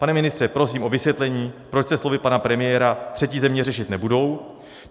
Pane ministře, prosím o vysvětlení, proč se slovy pana premiéra třetí země řešit nebudou.